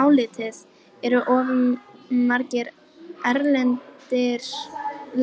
Álitið: Eru of margir erlendir